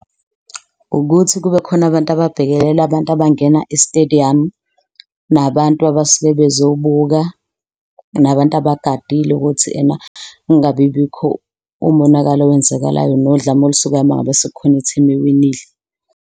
Ukuthi kubekhona abantu ababhekelela abantu abangena isitediyamu, nabantu abasuke bezobuka, nabantu abagadile ukuthi ena kungabi bikho umonakalo owenzakalayo nodlame olusukayo. Uma ngabe sekukhona ithimu ewinile.